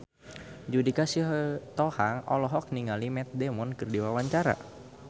Judika Sitohang olohok ningali Matt Damon keur diwawancara